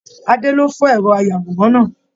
Adé ló fọ ẹrọ ayàwòrán náà.